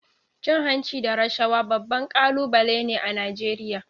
Cin hanci da rashawa babban kalubale ne a Najeriya.